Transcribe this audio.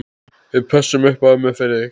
Við pössum ömmu fyrir þig.